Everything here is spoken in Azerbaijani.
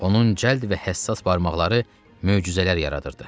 Onun cəld və həssas barmaqları möcüzələr yaradırdı.